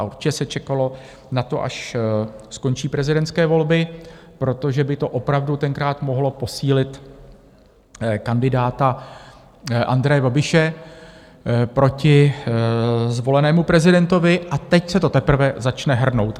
A určitě se čekalo na to, až skončí prezidentské volby, protože by to opravdu tenkrát mohlo posílit kandidáta Andreje Babiše proti zvolenému prezidentovi, a teď se to teprve začne hrnout.